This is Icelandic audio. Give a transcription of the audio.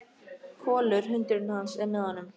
Kolur, hundurinn hans, er með honum.